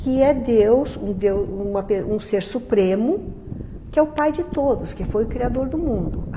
que é Deus, um Deus, um ser supremo, que é o pai de todos, que foi o criador do mundo.